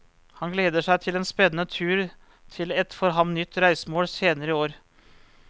Han gleder seg til en spennende tur til et for ham nytt reisemål senere i år.